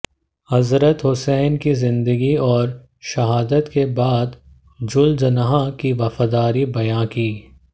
हजरत हुसैन की जिन्दगी और शहादत के बाद जुलजनाह की वफादारी बयां की